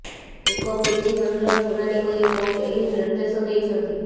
ଏକ ପିଟିସନର ଶୁଣାଣି କରି କୋର୍ଟ ଏହି ନିର୍ଦେଶ ଦେଇଛନ୍ତି